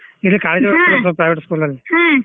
ಇದಕ್ private school ಅಲಿ .